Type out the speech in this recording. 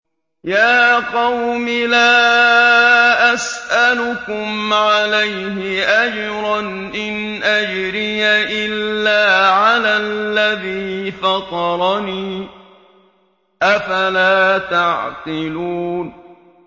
يَا قَوْمِ لَا أَسْأَلُكُمْ عَلَيْهِ أَجْرًا ۖ إِنْ أَجْرِيَ إِلَّا عَلَى الَّذِي فَطَرَنِي ۚ أَفَلَا تَعْقِلُونَ